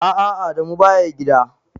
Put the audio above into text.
A'a Adamu baya gida.